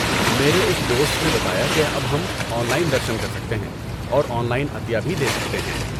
میرے ایک دوست نے بتایا کہ اب ہم آن لائن درشن کر سکتے ہیں اور آن لائن عطیہ بھی دے سکتے ہیں۔